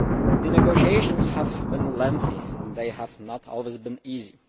The negotiations have been lengthy and have not always been easy.